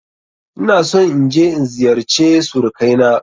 Ina son in je in ziyarce surukai na.